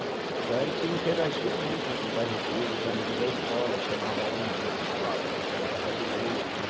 Então a gente interagia muito entre o bairro inteiro, os amigos da escola chamavam um brin, chamava para brincar na casa do outro, né?